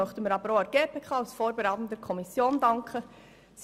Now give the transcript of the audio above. Auch der GPK als vorberatender Kommission danken wir.